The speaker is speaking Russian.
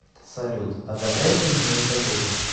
салют одобрять ли мне ипотеку